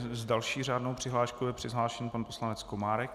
S další řádnou přihláškou je přihlášen pan poslanec Komárek.